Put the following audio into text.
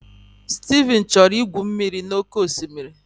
Steve chọrọ igwu mmiri n'oké osimiri.